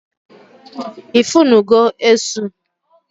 I funu go Esu?